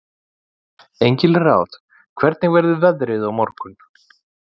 Engilráð, hvernig verður veðrið á morgun?